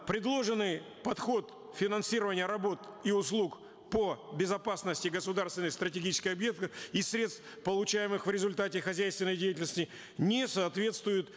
предложенный подход финансирования работ и услуг по безопасности государственной стратегической из средств получаемых в результате хозяйственной деятельности не соответствует